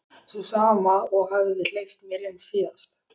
Sú sama og hafði hleypt mér inn síðast.